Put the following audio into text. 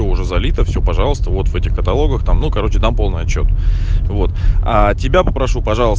уже залита все пожалуйста вот этих каталогах там ну короче там полный отчёт вот а тебя попрошу пожал